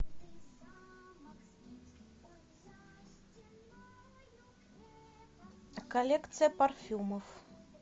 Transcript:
коллекция парфюмов